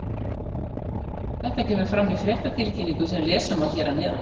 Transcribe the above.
Þetta kemur fram í fréttatilkynningu sem lesa má hér að neðan.